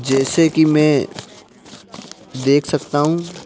जैसे कि मैं देख सकता हूँ।